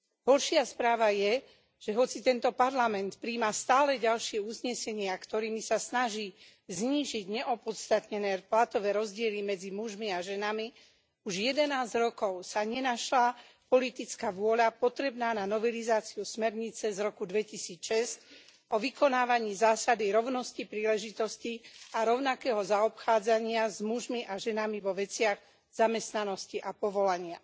Horšia správa je, že hoci tento Parlament prijíma stále ďalšie uznesenia, ktorými sa snaží znížiť neopodstatnené platové rozdiely medzi mužmi a ženami, už 11 rokov sa nenašla politická vôľa potrebná na novelizáciu smernice z roku 2006 o vykonávaní zásady rovnosti príležitostí a rovnakého zaobchádzania s mužmi a ženami vo veciach zamestnanosti a povolania.